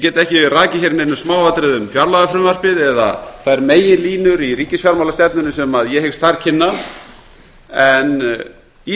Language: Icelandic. get ekki rakið hér í neinum smáatriðum fjárlagafrumvarpið eða þær meginlínur í ríkisfjármálastefnunni sem ég hyggst þar kynna en í